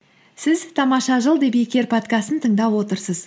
сіз тамаша жыл подкастын тыңдап отырсыз